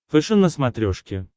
фэшен на смотрешке